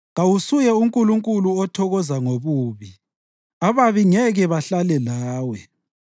Kawusuye uNkulunkulu othokoza ngobubi; ababi ngeke bahlale lawe.